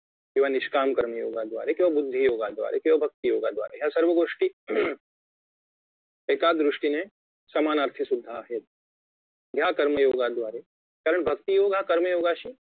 किंवा निष्काम कर्मयोगाद्वारे किंवा बुद्धी योगाद्वारे किंवा भक्ती योगाद्वारे या सर्वगोष्टी एका दृष्टीने समानार्थी सुद्धा आहेत या कर्मयोगाद्वारे भक्ती योग हा कर्मयोगाशी